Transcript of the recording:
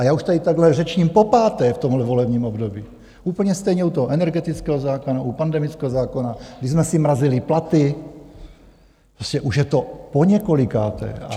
A já už tady takhle řečním popáté v tomhle volebním období, úplně stejně u toho energetického zákona, u pandemického zákona, kdy jsme si mrazili platy, prostě už je to poněkolikáté.